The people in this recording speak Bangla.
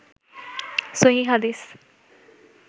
সহীহ হাদিস